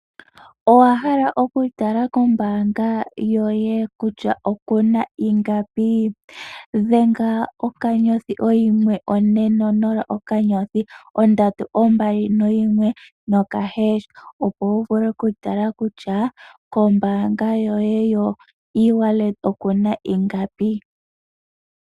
Owahala okutala kombaanga yoye kutya okuna ingapi? Dhenga okanyothi, oyimwe, one , nonola, okanyothi, ondatu, ombali , noyimwe nokaheesha. Opo wu vule okutala kutya kombaanga yoye yo Ewallet okuna ingapi.